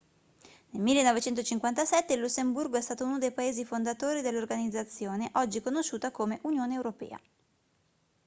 nel 1957 il lussemburgo è stato uno dei paesi fondatori dell'organizzazione oggi conosciuta come unione europea